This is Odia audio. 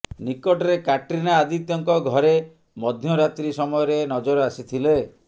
ନିକଟରେ କ୍ୟାଟ୍ରିନା ଆଦିତ୍ୟଙ୍କ ଘରେ ମଧ୍ୟରାତ୍ରୀ ସମୟରେ ନଜର ଆସିଥିଲେ